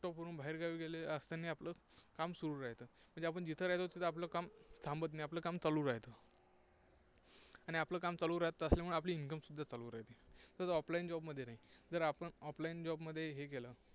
वरून बाहेरगावी गेले असतानाही आपलं काम सुरू राहतं. म्हणजे आपण जिथं राहतो तिथं आपलं काम थांबत नाही, आणि आपलं काम चालू राहतं. आणि आपलं काम चालू राहत असल्यामुळे आपलं income सुद्धा चालू राहतं. तसं offline job मध्ये नाही. जर आपण off line job मध्ये हे केलं